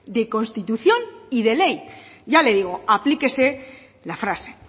de constitución y de ley ya le digo aplíquese la frase